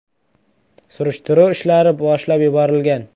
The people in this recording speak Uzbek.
Surishtiruv ishlari boshlab yuborilgan.